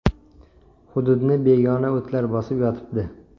Hududni begona o‘tlar bosib yotibdi.